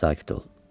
Sakit ol.